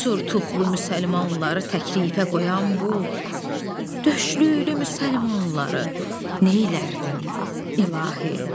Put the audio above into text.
Surtuxlu müsəlmanları təklifə qoyan bu, döşlülü müsəlmanları, neylərdin, İlahi?